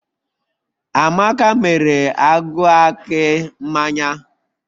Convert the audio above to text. Amaka mere agụ akị mmanya